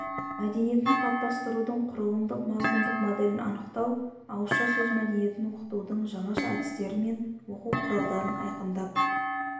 мәдениетін қалыптастырудың құрылымдық-мазмұндық моделін анықтау ауызша сөз мәдениетін оқытудың жаңаша әдістері мен оқу құралдарын айқындап